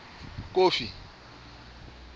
kofi